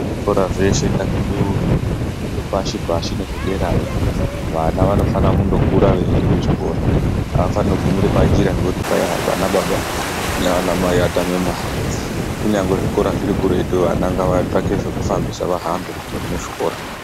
Zvikora zveshe ngazvibeurwe, zvepashi pashi nezvederayo. Vana vanofana kundokura veienda kuchikora, havafanogumira panjira nekuti mai ha.. vanababa nevana mai vatame mari. Kunyange zvikora zviri kuretu vana ngavatsvake zvekufambisa veienda kuchikora.